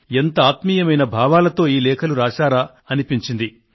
ఎంత ఆత్మీయమైన భావాలతో ఈ లేఖలు రాశారో అనిపించింది